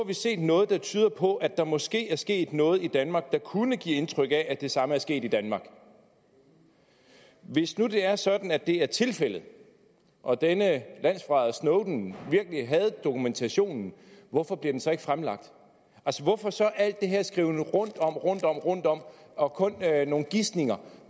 vi set noget der tyder på at der måske er sket noget i danmark der kunne give indtryk af at det samme er sket i danmark hvis nu det er sådan at det er tilfældet og at denne landsforræder snowden virkelig havde dokumentationen hvorfor bliver den så ikke fremlagt hvorfor så al den her skriven rundtom rundtom og rundtom og kun nogle gisninger